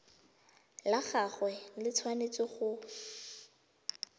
la gagwe le tshwanetse go